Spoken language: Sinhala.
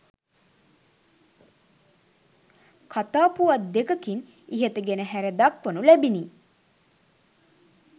කතාපුවත් දෙකකින් ඉහත ගෙන හැර දක්වනු ලැබිණි.